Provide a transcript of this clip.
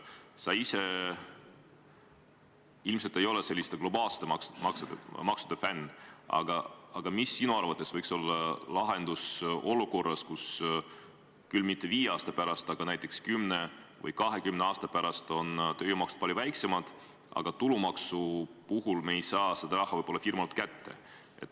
Sa ise ilmselt ei ole selliste globaalsete maksude fänn, aga mis sinu arvates võiks olla lahendus olukorras, kus küll mitte viie aasta pärast, aga näiteks kümne või 20 aasta pärast on tööjõumaksud palju väiksemad, aga tulumaksu puhul me ei saa seda raha võib-olla firmalt kätte.